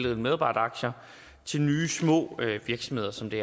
af medarbejderaktier til nye små virksomheder som det